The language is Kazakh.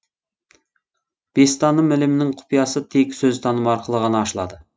бестаным ілімінің құпиясы тек сөзтаным арқылы ғана ашылады